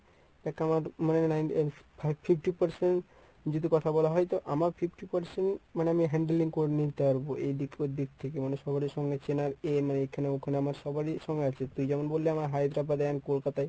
একা আমার মানে fifty percent যদি কথা বলা হয় তো আমার fifty percent মানে আমি handling করে নিতে পারবো এইদিক ওইদিক থেকে মানে সবারে সঙ্গে চেনার এখানে ওখানে আমার সবারই আছে। তুই যেমন বললি আমার হায়দ্রাবাদে এবং কলকাতায়